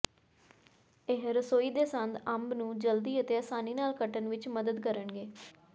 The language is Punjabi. ਇਹ ਰਸੋਈ ਦੇ ਸੰਦ ਅੰਬ ਨੂੰ ਜਲਦੀ ਅਤੇ ਆਸਾਨੀ ਨਾਲ ਕੱਟਣ ਵਿੱਚ ਮਦਦ ਕਰਨਗੇ